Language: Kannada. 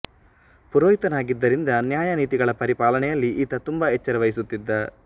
ಪುರೋಹಿತನಾಗಿದ್ದುದರಿಂದ ನ್ಯಾಯ ನೀತಿಗಳ ಪರಿಪಾಲನೆಯಲ್ಲಿ ಈತ ತುಂಬ ಎಚ್ಚರ ವಹಿಸುತ್ತಿದ್ದ